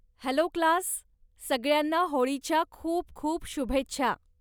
Hello class, सगळ्यांना होळीच्या खूप खूप शुभेच्छा.